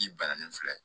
Ji banna nin filɛ